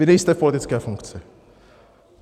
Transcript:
Vy nejste v politické funkci.